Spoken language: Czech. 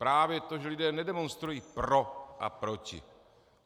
Právě to, že lidé nedemonstrují pro a proti.